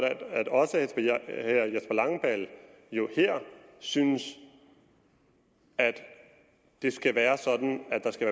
at også herre jesper langballe her synes at det skal være sådan at der skal